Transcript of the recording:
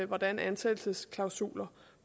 hvordan ansættelsesklausuler